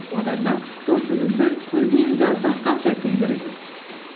одан да досыңыздың көзінен жас аққанша күлдіріңіз